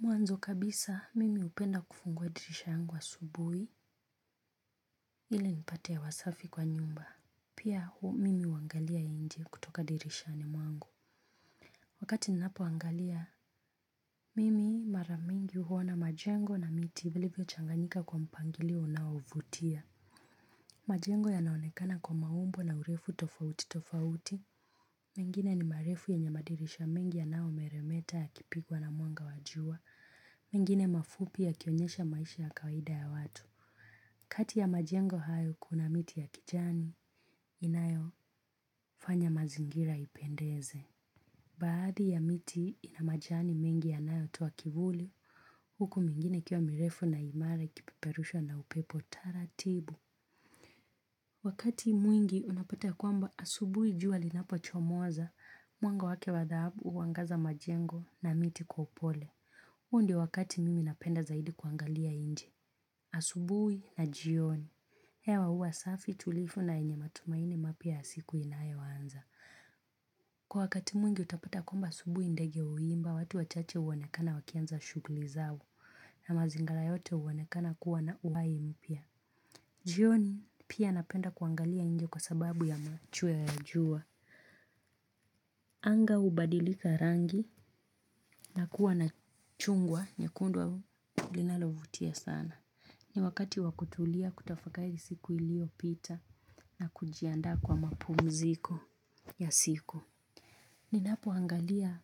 Mwanzo kabisa, mimi upenda kufunguwa dirisha yangu asubuhi ili nipate hewa safi kwa nyumba. Pia mimi huangalia nje kutoka dirishani mwangu. Wakati ninapo angalia, mimi maramingi huwona majengo na miti vilivio changanyika kwa mpangilio unao vutia. Majengo yanaonekana kwa maumbo na urefu tofauti tofauti. Mengine ni marefu yenye madirisha mengi yanao meremeta yakipigwa na muanga wajua. Mingine mafupi ya kionyesha maisha ya kawida ya watu. Kati ya majengo hayo kuna miti ya kijani, inayo fanya mazingira ipendeze. Baadhi ya miti ina majani mengi yanayo toa kivuli, huku mingine ikio mirefu na imare ikipiperusha na upepo tara tibu. Wakati mwingi unapata kuamba asubui juali napo chomoza, mwango wake wadhabu uangaza majengo na miti kwa upole. Uo ndi wakati mimi napenda zaidi kuangalia inje, asubui na jioni. Hewa huwa safi tulivu na yenye matumaini mapya ya siku inayoanza. Kwa wakati mwingi utapata kwamba asubui ndege uimba, watu wachache uwonekana wakianza shugli zao na mazingala yote uwonekana kuwa na uwai mpia. Jioni pia napenda kuangalia inje kwa sababu ya machweo ya jua. Anga ubadilika rangi na kuwa na chungwa nyekundu linalovutia sana. Ni wakati wakutulia kutafakai siku ilio pita. Na kujianda kwa mapumziko ya siku. Ninapo angalia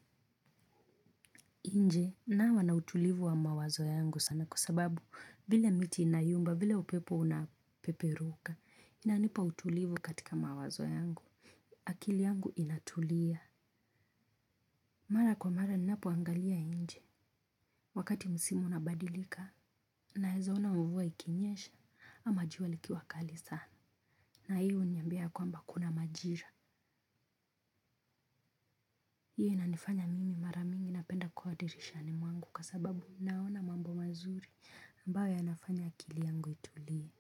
inje nawa nautulivu wa mawazo yangu sana. Kusababu vile miti inayumba vile upepo unapeperuka inanipa utulivu katika mawazo yangu. Akili yangu inatulia. Mara kwa mara ninapoangalia inje. Wakati musimu unabadilika na heza ona mvuwa ikinyesha ama jua likiwakali sana. Na hiyo huniambia ya kwamba kuna majira. Hiyo inanifanya mimi mara mingi napenda kuwa dirishani mwangu kwa sababu naona mambo mazuri ambayo yanafanya akili yangu itulie.